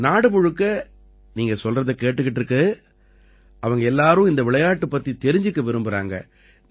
நாடு முழுக்க நீங்க சொல்றதை கேட்டுக்கிட்டு இருக்கு அவங்க எல்லாரும் இந்த விளையாட்டுப் பத்தித் தெரிஞ்சுக்க விரும்பறாங்க